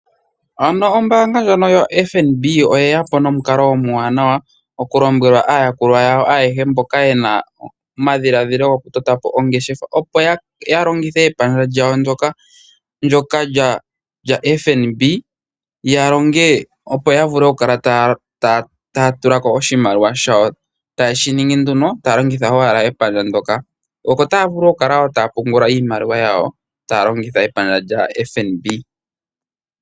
Ano ombaanga ndjono yoFNB oye ya po nomukalo omwaanawa okulombwela aayakulwa yawo ayehe mboka yena omadhiladhilo goku totapo ongeshefa, opo ya longithe epandja lyawo ndjoka lyaFNB, ya longe opo ya vule okukala taa tula ko oshimaliwa shawo, taye shi ingi nduno taa longitha owala epandja ndjoka, oko taa vulu wo okupungula iimaliwa yawo, taa longitha epandja lya FNB.